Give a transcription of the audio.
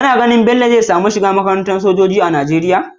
Kana ganin bello zai samu shiga makaranta sojoji na nigeria?